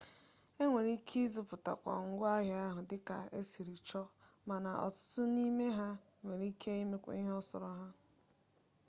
e nwere ike ịzụta ngwa ahịa dịka esiri chọ mana ọtụtụ n'ime ha ga enwe mmetụta arụmọrụ pere mpe m'ọbụ ha agaghị enwe mmetụta m'ọlị